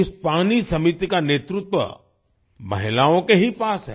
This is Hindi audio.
इस पानी समिति का नेतृत्व महिलाओं के ही पास है